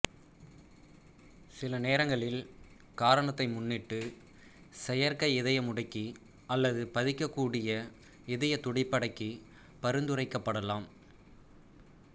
சில நேரங்களில் காரணத்தை முன்னிட்டு செயற்கை இதயமுடுக்கி அல்லது பதிக்கக்கூடிய இதய துடிப்படக்கி பரிந்துரைக்கப்படலாம்